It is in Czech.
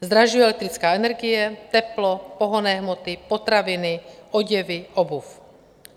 Zdražuje elektrická energie, teplo, pohonné hmoty, potraviny, oděvy, obuv.